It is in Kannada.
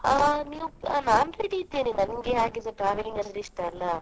ಆ ನೀವು ನಾನು ready ಇದ್ದೇನೆ. ನಂಗೆ ಹಾಗೆಸ travelling ಅಂದ್ರೆ ಇಷ್ಟ ಅಲ್ಲಾ.